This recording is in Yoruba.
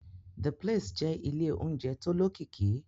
The place jẹ́ ilé oúnjẹ tó lókìkí